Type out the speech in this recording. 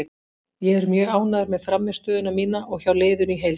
Ég er mjög ánægður með frammistöðuna mína og hjá liðinu í heild.